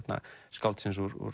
skáldsins úr